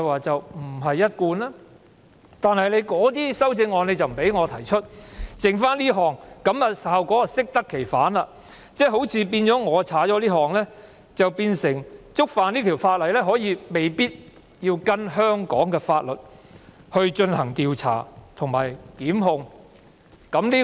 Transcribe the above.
這樣一來，這項修正案的效果適得其反，變成如果這款被刪除，觸犯有關罪行，便未必需要按照香港法律進行調查及予以檢控。